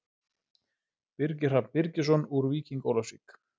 Birgir Hrafn Birgisson úr Víking Ólafsvík